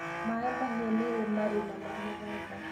MaaĩMahiu nĩrĩ marima ma mũthanga